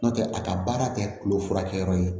N'o tɛ a ka baara tɛ kulo furakɛ yɔrɔ ye